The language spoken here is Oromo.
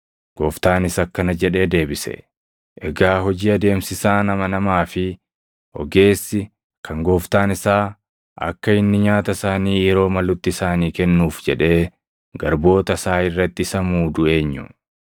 Gooftaanis akkana jedhee deebise; “Egaa hojii adeemsisaan amanamaa fi ogeessi kan gooftaan isaa akka inni nyaata isaanii yeroo malutti isaanii kennuuf jedhee garboota isaa irratti isa muudu eenyu?